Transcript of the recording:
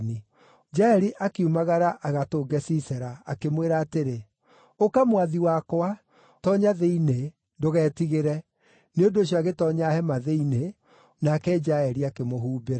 Jaeli akiumagara agatũnge Sisera, akĩmwĩra atĩrĩ, “Ũka, mwathi wakwa, toonya thĩinĩ. Ndũgetigĩre.” Nĩ ũndũ ũcio agĩtoonya hema thĩinĩ nake Jaeli akĩmũhumbĩra.